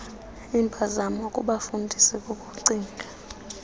impazamo kubefundisi kukucinga